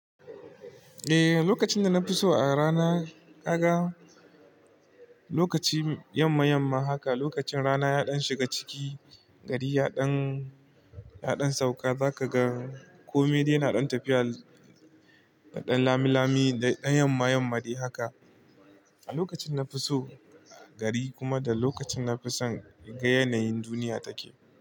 Eh, lokacin da na fi so a rana ka ga lokaci yamma yamma haka, lokacin rana yaɗan shiga ciki gari yaɗan yaɗan sauka za ka ga komai dai naɗon tafiya naɗon lami lami daɗan yamma yamma dai haka. A lokacin na fi so gari kuma da lokacin na fi son in ga yanayin duniya take.